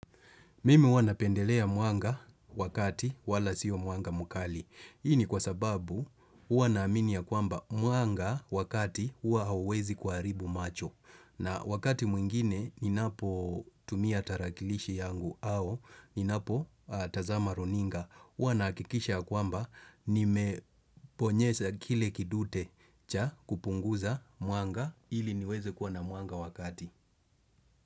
Mimi huwa napendelea mwanga wakati wala sio mwanga mkali. Hii ni kwa sababu huwa naaminia kwamba mwanga wakati hua huawezi kuharibu macho. Na wakati mwingine ninapotumia tarakilishi yangu au ninapotazama runinga. Huwa nahakikisha kwamba nimeponyesa kile kidute cha kupunguza mwanga ili niweze kuwa na mwanga wakati.